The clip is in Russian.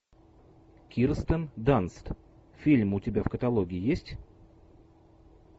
кирстен данст фильм у тебя в каталоге есть